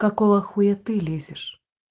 какого хуя ты лезешь